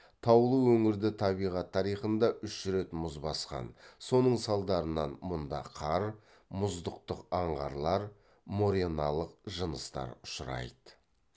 таулы өңірді табиғат тарихында үш рет мұз басқан соның салдарынан мұнда қар мұздықтық аңғарлар мореналық жыныстар ұшырайды